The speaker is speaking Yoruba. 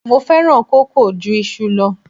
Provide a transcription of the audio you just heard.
Mo fẹ́ràn kókò ju iṣu lọ.